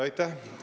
Aitäh!